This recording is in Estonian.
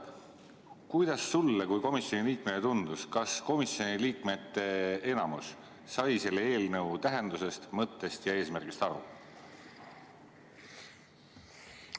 Kuidas sulle kui komisjoni liikmele tundus, kas komisjoni liikmete enamik sai selle eelnõu tähendusest, mõttest ja eesmärgist aru?